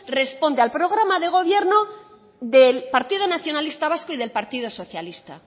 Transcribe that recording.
responde al programa de gobierno del partido nacionalista vasco y del partido socialista